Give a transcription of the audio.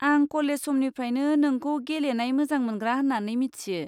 आं कलेज समनिफ्रायनो नोंखौ गेलेनाय मोजां मोनग्रा होन्नानै मिथियो।